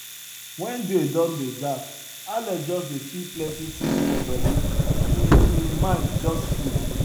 when day don dey dark alex just dey feel plenty things for body e um mind just full